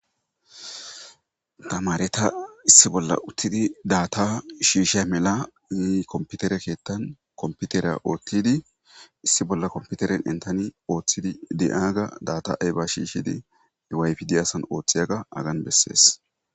Tamareta issi bolla uttidi daata shiishey melanne komputere keeththan komputera oothtidi issi bolla komputeren entani ooththidi de7aaga daata7eyba shiishidi wifi diyasan ooththiyaga agan bessees.